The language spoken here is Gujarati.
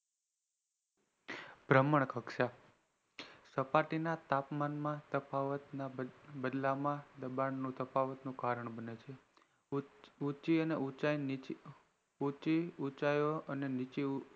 બ્રહ્મણ કક્ષા સપાટી ના તાપમાન ના તફાવત ના બદલામાં દબાણ નું તફાવત નું કારણ બને છે ઉંચી અને ઉછી નીચેય